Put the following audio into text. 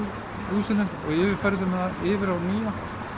húsinu og yfirfærðum það yfir á nýja